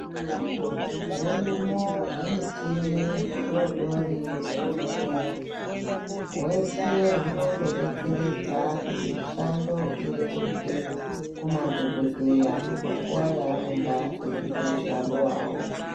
Hurimo humitini hudoodori muzvibhedhleya. Hwese hunondodetseredza kuti mishando ireruke kumadhokodheya panguwa yaanonga eiite ,mushando wawo.